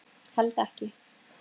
Held ekki.